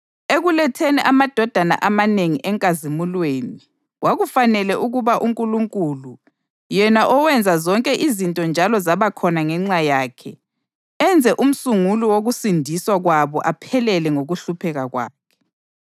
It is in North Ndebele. Ekuletheni amadodana amanengi enkazimulweni, kwakufanele ukuba uNkulunkulu, yena owenza zonke izinto njalo zabakhona ngenxa yakhe, enze umsunguli wokusindiswa kwabo aphelele ngokuhlupheka kwakhe.